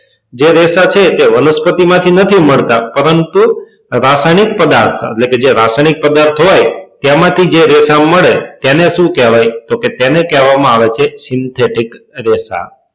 જે રેશા છે તે વનસ્પતિ માં થી નથી મળતા પરંતુ રસાયણિક પદાર્થ માં એટલે કે જે રસાયણિક પદાર્થ હોય તેમાં થી જે રેષાઓ મળે તેને સુ કહેવાય તો કે તેને કહેવા માં આવે છે રેસા